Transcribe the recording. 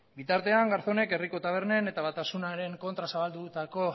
bitartean garzóneko herriko tabernen eta batasunaren kontra zabaldutako